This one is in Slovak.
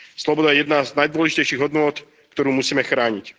Sloboda je jedna z najdôležitejších hodnôt, ktorú musíme chrániť.